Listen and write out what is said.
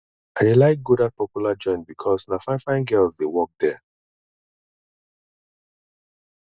i dey like go dat popular joint because na finefine girls dey work there